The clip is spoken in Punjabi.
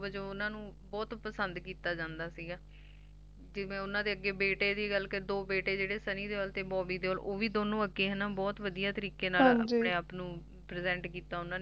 ਤੇ ਵਜੋਂ ਓਹਨਾ ਨੂ ਬਹੁਤ ਪਸੰਦ ਕੀਤਾ ਜੰਦਾ ਸੀਗਾ ਤੇ ਓਹਨਾ ਦੇ ਜੈ ਬੇਟੇ ਦੀ ਗੱਲ ਕਰਾ ਤਾਂ ਦੋ ਬੇਟੇ Sunny Deol Bobby Deol ਓਹ ਵੀ ਦੋਨੋ ਅੱਗੇ ਬਹੁਤ ਵਧੀਆ ਤਰੀਕੇ ਨਾਲ ਆਪਣੇ ਆਪ ਨੂੰ Present ਕੀਤਾ ਓਹਨਾ ਨੇ